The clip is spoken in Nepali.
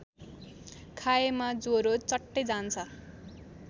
खाएमा ज्वरो चट्टै जान्छ